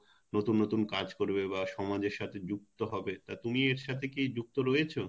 নতুন নতুন কাজ করবে বা সমাজের সাথে যুক্ত হবে তা তুমি এর সাথে কি যুক্ত রয়েছো?